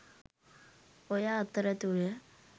ඔය අතරතුර